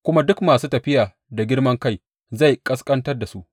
Kuma duk masu tafiya da girman kai zai ƙasƙantar da su.